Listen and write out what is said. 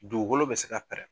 Dugukolo bɛ se ka pɛrɛn.